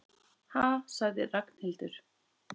Ha sagði Ragnhildur.